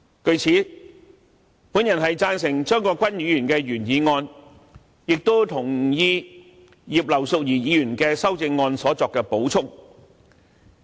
據此，我贊成張國鈞議員的原議案，也同意葉劉淑儀議員就修正案所作的補充。